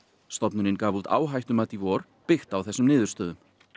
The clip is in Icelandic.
stofnunin gaf út áhættumat í vor byggt á þessum niðurstöðum